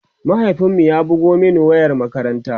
mahaifin mu ya bugo Mani ta wayar makaranta